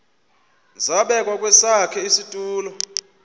zabekwa kwesakhe isitulo